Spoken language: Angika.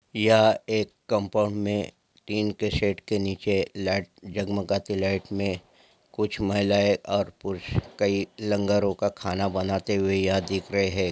यहाँ एक कंपाउंड में टीन के शेड के नीचे लाइट जगमगाती लाइट में कुछ महिलाएं और पुरुष कई लंगरों का खाना बनाते हुए यहाँ दिख रहे हैं।